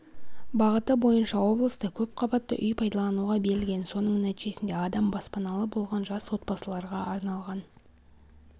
бағыты бойынша облыста көпқабатты үй пайдалануға берілген соның нәтижесінде адам баспаналы болған жас отбасыларға арналған